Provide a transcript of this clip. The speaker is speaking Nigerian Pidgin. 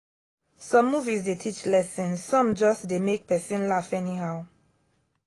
some movies dey teach lesson some just dey make person laugh anyhow.